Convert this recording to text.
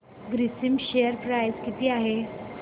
Grasim share price किती आहे